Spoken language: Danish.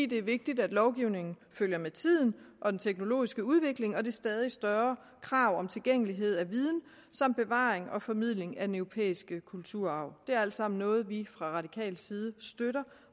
det er vigtigt at lovgivningen følger med tiden og den teknologiske udvikling og det stadig større krav om tilgængelighed af viden samt bevaring og formidling af den europæiske kulturarv det er alt sammen noget vi fra radikal side støtter